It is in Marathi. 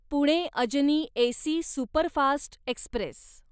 Pune Ajni AC superfast Express